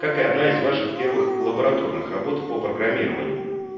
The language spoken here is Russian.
как одна из ваших первых лабораторных работ по программированию